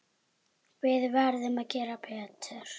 Við verðum að gera betur.